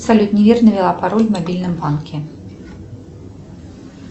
салют неверно ввела пароль в мобильном банке